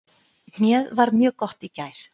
Hnéð var mjög gott í gær.